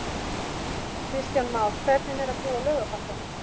Kristján Már: Hvernig er að búa á Laugarbakka?